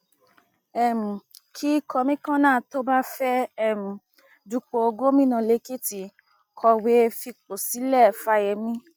um kí kọmíkànnà tó bá fẹẹ um dúpọ gómìnà lẹkìtì kọwé fipò sílẹ fáyemí